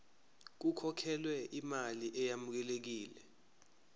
kukhokhelwe imali eyamukelekile